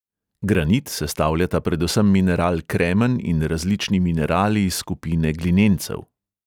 Granit sestavljata predvsem mineral kremen in različni minerali iz skupine glinencev.